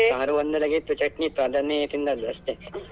ಸಾರು ಒಂದ್ಯೆಲಾಗ ಇತ್ತು, ಚಟ್ನಿ ಇತ್ತು ಅದನ್ನೇ ತಿಂದದ್ದು ಅಷ್ಟೇ.